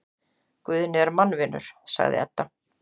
Guðni er mannvinur, sagði Edda.